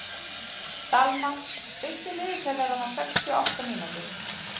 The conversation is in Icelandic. Dalmar, stilltu niðurteljara á sextíu og átta mínútur.